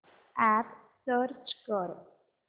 app search कर